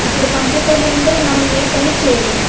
ఇప్పుడు కంప్యూటర్ లేనిదే మనం ఏ పని చేయలేము.